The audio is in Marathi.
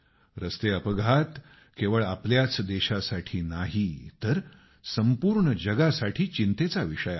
रस्ते अपघात केवळ आपल्याच देशासाठी नाही तर संपूर्ण जगासाठी चिंतेचा विषय आहे